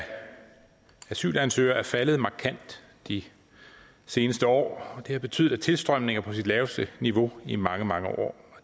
asylansøgere er faldet markant de seneste år det har betydet at tilstrømningen er på det laveste niveau i mange mange år